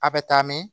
A bɛ taa mɛn